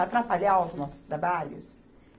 Atrapalhar os nossos trabalhos?